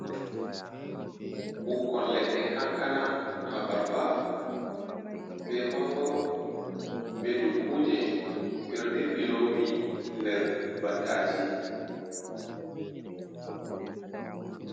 Ɓikkon leɗɗe kankana, abarba, be mangoro, be dukkuje ɓeɗo dirɓii lowi nder battaji.